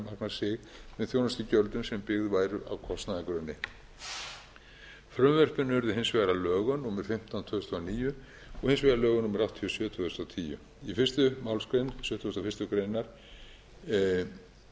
sig með þjónustugjöldum sem byggð væru á kostnaðargrunni frumvörpin urðu hins vegar að lögum númer fimmtán tvö þúsund og níu og hins vegar lögum númer áttatíu og sjö tvö þúsund og tíu í fyrstu málsgrein sjötugustu og fyrstu grein